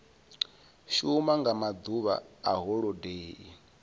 shuma nga maḓuvha a holodeni